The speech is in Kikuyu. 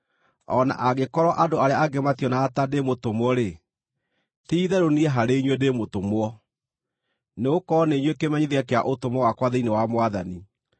O na angĩkorwo andũ arĩa angĩ mationaga ta ndĩ mũtũmwo-rĩ, ti-itherũ niĩ harĩ inyuĩ ndĩ mũtũmwo! Nĩgũkorwo nĩ inyuĩ kĩmenyithia kĩa ũtũmwo wakwa thĩinĩ wa Mwathani.